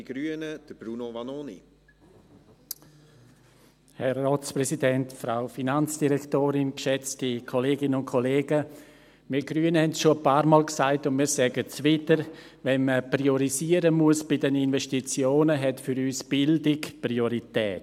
Wir Grüne haben es schon ein paarmal gesagt, und wir sagen es wieder: Wenn man bei den Investitionen priorisieren muss, hat für uns die Bildung Priorität.